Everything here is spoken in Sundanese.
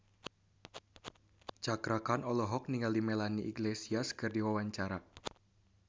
Cakra Khan olohok ningali Melanie Iglesias keur diwawancara